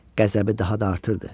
qəzəbi daha da artırdı.